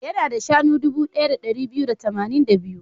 Yana da shanu guda dubu ɗaya da ɗari biyu da tamanin da biyu.